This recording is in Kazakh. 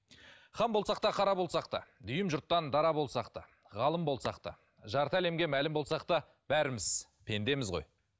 хан болсақ та қара болсақ та дүйім жұрттан дара болсақ та ғалым болсақ та жарты әлемге мәлім болсақ та бәріміз пендеміз ғой